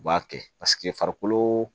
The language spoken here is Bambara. U b'a kɛ farikolo